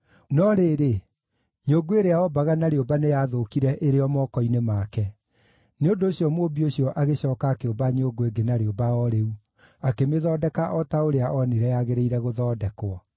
No rĩrĩ, nyũngũ ĩrĩa ombaga na rĩũmba nĩyathũkire ĩrĩ o moko-inĩ make; nĩ ũndũ ũcio mũũmbi ũcio agĩcooka akĩũmba nyũngũ ĩngĩ na rĩũmba o rĩu, akĩmĩthondeka o ta ũrĩa onire yagĩrĩire gũthondekwo.